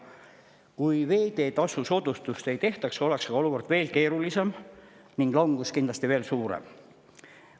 Kui veeteetasu soodustust ei tehtaks, oleks olukord veel keerulisem ning langus kindlasti veel suurem.